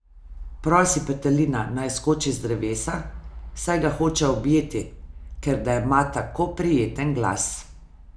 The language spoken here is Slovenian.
Prosi petelina, naj skoči z drevesa, saj ga hoče objeti, ker da ima tako prijeten glas.